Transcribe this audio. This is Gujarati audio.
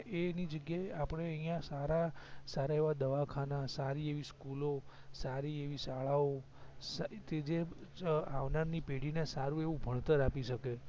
એ એની જગ્યાએ આપડે અહિયાં સારા સારા એવા દવાખાના સારી એવી સ્કૂલઓ સારી એવી શાળાઓ કે જે આવનારની પેઢી ને સારું એવું ભણતર આપી સકે